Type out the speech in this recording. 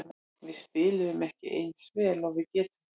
Við spiluðum ekki eins vel og við getum.